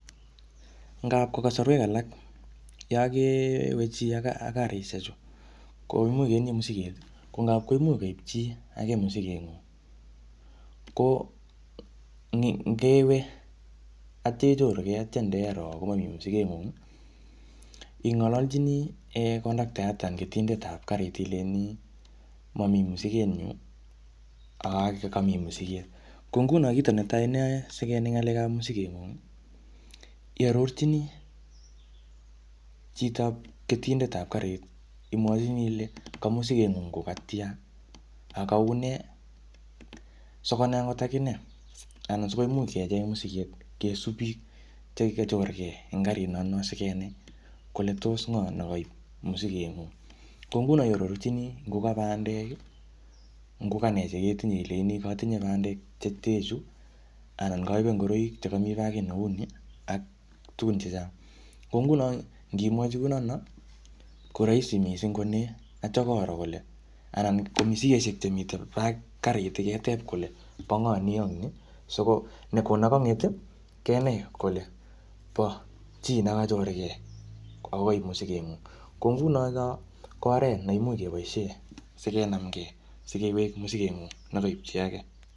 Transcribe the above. Ngap kasorwek alak Yoon kewe chi ak karisiek chu ko imuche ketinye masiket, ko ngap chi ake masiket nyin ko nde wee aitia ichorukee aitia iroo komami masiket ng'ung ih ing alalchine conductor ileini mamii masiket nyun, ak kamiiasiket . Ko ngunon kit neyae sikenai ng'alekab masiket ih iarorchine chitab ketindetab karit ih imuachini Ile ka masiket ng'ung ko katian Ako kaune sikonai akot akinee anan sikomuch kecheng masiket, kisub bik chekachorke en karit no sigenai kole tos ng'o nekaib masiket ng'ung. Ko ngunon oarorchini ngo kabandek ih , ngo kanee ilenchini matinye bandek cheten chu anan kaibe ngoraik chekami bagit ni , tugun chechang ko ngunon nimwachi kounon koraisi missing aitia koro kole misikisiek chemiten karit keteb kole bang'aa ni ak ni si nekang'et kenai kole ba chi nekachorgei Ako Kai musiget ng'ung, ko nguni ko oret neimuch kebaisien sikewek masiket ng'ung nekaib chi age.